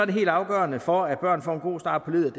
det helt afgørende for at børn får en god start på livet